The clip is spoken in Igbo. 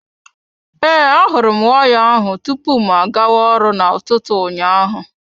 Ee, ahụrụ m waya ahụ tupu mụ agawa ọrụ na ụtụtụ ụnyaahụ.